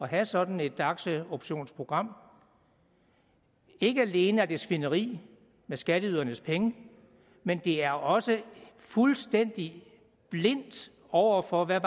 have sådan et aktieoptionsprogram ikke alene er det svineri med skatteydernes penge men det er også fuldstændig blindt over for hvad